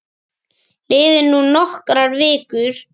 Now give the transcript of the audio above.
Liðu nú nokkrar vikur.